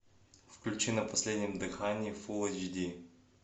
включи на последнем дыхании фул эйч ди